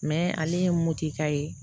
Mɛ ale ye motoka ye